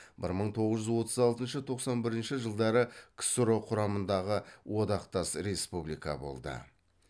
бір мың тоғыз жүз отыз алтыншы тоқсан бірінші жылдары ксро құрамындағы одақтас республика болды